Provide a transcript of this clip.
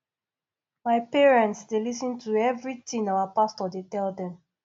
my parents dey lis ten to everything our pastor dey tell dem